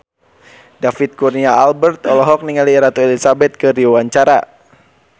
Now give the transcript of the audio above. David Kurnia Albert olohok ningali Ratu Elizabeth keur diwawancara